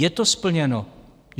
Je to splněno!